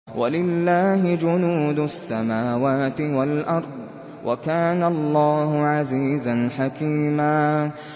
وَلِلَّهِ جُنُودُ السَّمَاوَاتِ وَالْأَرْضِ ۚ وَكَانَ اللَّهُ عَزِيزًا حَكِيمًا